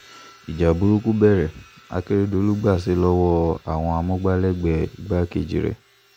ìjà burúkú bẹ̀rẹ̀ akérèdọ́lù gbaṣẹ́ lọ́wọ́ àwọn amúgbálẹ́gbẹ̀ẹ́ igbákejì rẹ̀